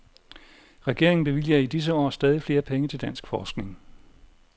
Regeringen bevilger i disse år stadig flere penge til dansk forskning.